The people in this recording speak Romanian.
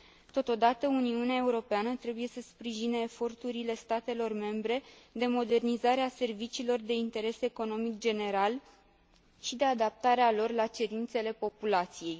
Totodată, Uniunea Europeană trebuie să sprijine eforturile statelor membre de modernizare a serviciilor de interes economic general și de adaptare a lor la cerințele populației.